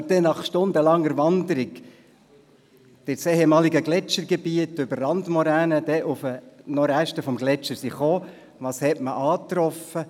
Als wir nach stundenlanger Wanderung ins ehemalige Gletschergebiet über Randmoränen auf die Reste des Gletschers stiessen, was trafen wir an?